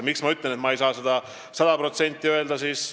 Miks ma ütlen, et ma ei saa seda sada protsenti lubada?